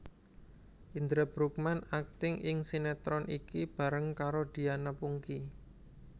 Indra Bruggman akting ing sinetron iki bareng karo Diana Pungky